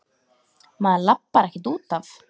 Maður labbar ekkert út af.